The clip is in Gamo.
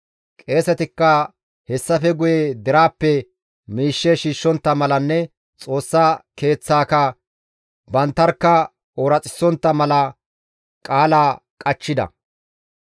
Qeesetikka hessafe guye deraappe miishshe shiishshontta malanne Xoossa Keeththaaka banttarkka ooraxissontta mala qaala qachchida.